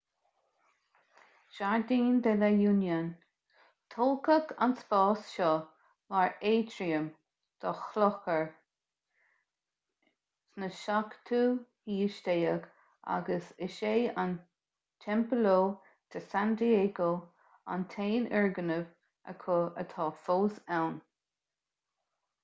jardín de la unión tógadh an spás seo mar aitriam do chlochar 17ú haois agus is é an templo de san diego an t-aon fhoirgneamh acu atá fós ann